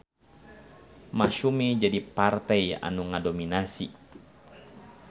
Masyumi jadi partei anu ngadominasi.